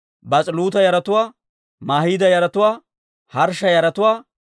Baas'iluuta yaratuwaa, Mahiida yaratuwaa, Harshsha yaratuwaa,